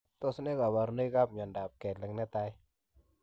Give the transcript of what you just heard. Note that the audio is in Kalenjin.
Tos nee kabarunoik ap miondop kelek netai?